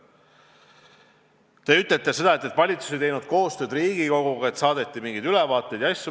Te ütlesite, et valitsus ei teinud koostööd Riigikoguga, et saadeti mingeid ülevaateid ja asju.